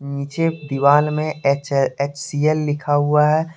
नीचे दीवाल में एच_एच_सी_एल लिखा हुआ है।